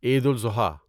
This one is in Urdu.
عید الاضحیٰ